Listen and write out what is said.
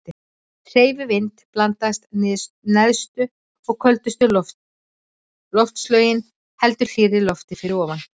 Hreyfi vind blandast neðstu og köldustu loftlögin heldur hlýrra lofti fyrir ofan.